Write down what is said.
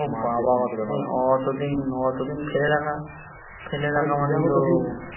ও বাবা অতদিন অতদিন ফেলে রাখা ফেলে রাখা মানে তো